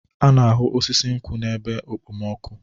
A na-ahụ osisi nkwụ n'ebe okpomọkụ.